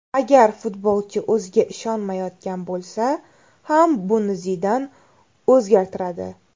Agar futbolchi o‘ziga ishonmayotgan bo‘lsa ham buni Zidan o‘zgartiradi.